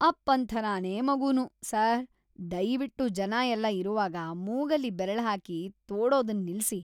ಅಪ್ಪನ್ ಥರನೇ ಮಗನೂ. ಸರ್, ದಯ್ವಿಟ್ಟು ಜನ ಎಲ್ಲ ಇರುವಾಗ ಮೂಗಲ್ಲಿ ಬೆರಳ್ಹಾಕಿ ತೋಡೋದನ್ನ ನಿಲ್ಸಿ.